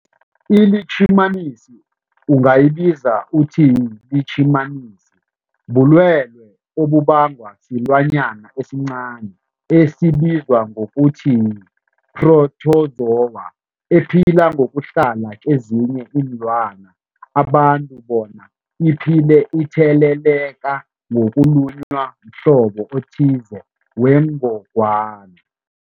iLitjhimanisi ungayibiza uthiyilitjhimanisi, bulwelwe obubangwa silwanyana esincani esibizwa ngokuthiyi-phrotozowa ephila ngokuhlala kezinye iinlwana, abantu bona iphile itheleleka ngokulunywa mhlobo othize wengogwana.